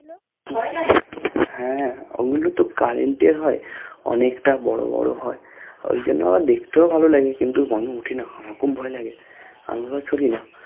ভয় লাগে হ্যা ঐগুলোতো Current এর হয় অনেকটা বড়ো বড়ো হয় ঐজন্য আবার দেখতেও ভালো লাগে কিন্তু আমি উঠিনা আমার খুব ভয়লাগে আমি আবার না